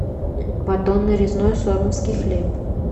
батон нарезной сормовский хлеб